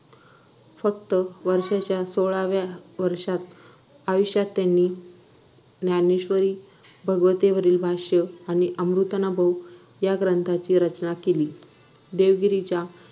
फक्त वर्षाच्या सोळाव्या वर्षात आयुष्यात त्यांनी ज्ञानेश्वरी भगवते वरील भाष्य आणि अमृतानुभव या ग्रंथाची रचना केली देवगिरीच्या